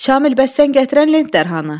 Şamil, bəs sən gətirən lent dərhanı?